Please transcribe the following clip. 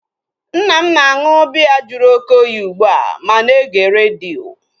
Nna m na-aṅụ biya jụrụ oké oyi ugbua ma na-ege redio